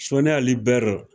Soni Ali bɛri